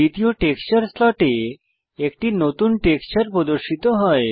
দ্বিতীয় টেক্সচার স্লটে একটি নতুন টেক্সচার প্রদর্শিত হয়